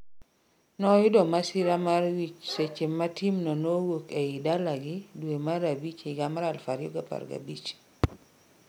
noyudo masira mar wich seche ma timno nowuok ei dalagi due mar abich higa 2015